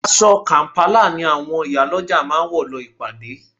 Aṣọ kàm̀pálà ni àwọn ìyálọ́jà máa wọ̀ lọ ìpàdé